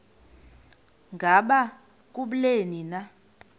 ngaba kubleni na